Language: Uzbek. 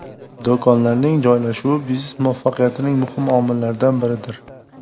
Do‘konlarning joylashuvi biznes muvaffaqiyatining muhim omillaridan biridir.